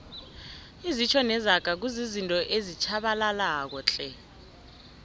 izitjho nezaga kuzizinto ezitjhabalalako tle